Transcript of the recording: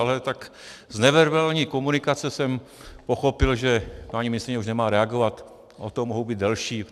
Ale tak z neverbální komunikace jsem pochopil, že paní ministryně už nemá reagovat, o to mohu být delší.